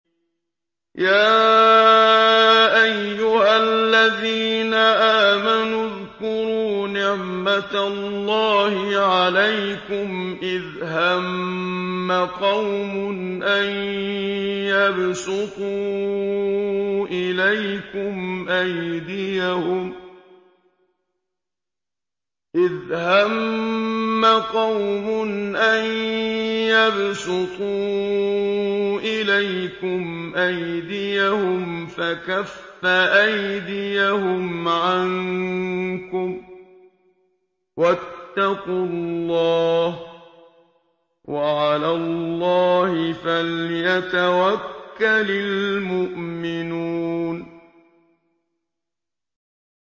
يَا أَيُّهَا الَّذِينَ آمَنُوا اذْكُرُوا نِعْمَتَ اللَّهِ عَلَيْكُمْ إِذْ هَمَّ قَوْمٌ أَن يَبْسُطُوا إِلَيْكُمْ أَيْدِيَهُمْ فَكَفَّ أَيْدِيَهُمْ عَنكُمْ ۖ وَاتَّقُوا اللَّهَ ۚ وَعَلَى اللَّهِ فَلْيَتَوَكَّلِ الْمُؤْمِنُونَ